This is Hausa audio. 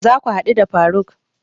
Za ka haɗu da faruk?